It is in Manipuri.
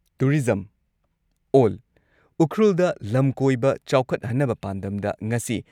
ꯇꯨꯔꯤꯖꯝ ꯑꯣꯜ ꯎꯈ꯭ꯔꯨꯜꯗ ꯂꯝ ꯀꯣꯏꯕ ꯆꯥꯎꯈꯠꯍꯟꯅꯕ ꯄꯥꯟꯗꯝꯗ ꯉꯁꯤ